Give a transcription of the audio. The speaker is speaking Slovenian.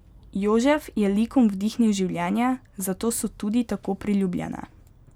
Jožef je likom vdihnil življenje, zato so tudi tako priljubljene.